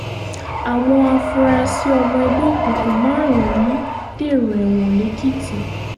àwọn afurasí ọmọ ẹgbẹ́ òkùnkùn márùn-ún dèrò ẹ̀wọ̀n lẹ́kìtì